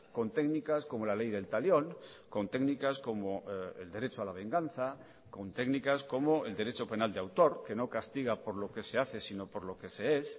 con técnicas como la ley del talión con técnicas como el derecho a la venganza con técnicas como el derecho penal de autor que no castiga por lo que se hace sino por lo que se es